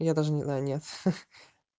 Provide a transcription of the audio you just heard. я даже не знаю нет